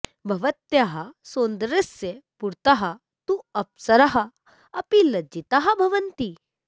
भवत्याः सौन्दर्यस्य पुरतः तु अप्सराः अपि लज्जिताः भवन्ति